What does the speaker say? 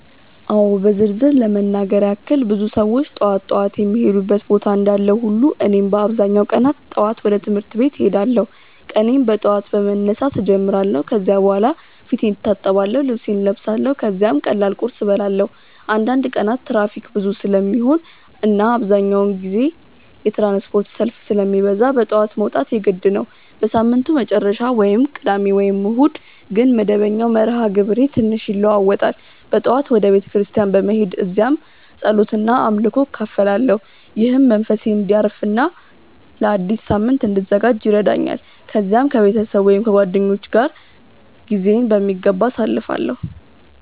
አዎ በዝርዝር ለመናገር ያክል ብዙ ሰዎች ጠዋት ጠዋት የሚሄዱበት ቦታ እንዳለ ሁሉ እኔም በአብዛኛው ቀናት ጠዋት ወደ ትምህርት ቤት እሄዳለሁ። ቀኔን በጠዋት በመነሳት እጀምራለሁ ከዚያ በኋላ ፊቴን እታጠብአለሁ፣ ልብሴን እለብሳለሁ ከዚያም ቀላል ቁርስ እበላለሁ። አንዳንድ ቀናት ትራፊክ ብዙ ስለሚሆን እና አብዛኛውን ጊዜ የትራንስፖርት ሰልፍ ስለሚበዛ በጠዋት መውጣት የግድ ነው። በሳምንቱ መጨረሻ (ቅዳሜ ወይም እሁድ) ግን መደበኛው መርሃ ግብሬ ትንሽ ይለዋዋጣል። በጠዋት ወደ ቤተ ክርስቲያን በመሄድ እዚያ ጸሎት እና አምልኮ እካፈላለሁ፣ ይህም መንፈሴን እንዲያርፍ እና ለአዲስ ሳምንት እንድዘጋጅ ይረዳኛል። ከዚያም ከቤተሰብ ወይም ከጓደኞች ጋር ጊዜዬን በሚገባ አሳልፋለሁ።